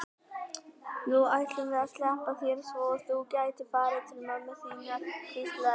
Nú ætlum við að sleppa þér svo þú getir farið til mömmu þinnar, hvíslaði hann.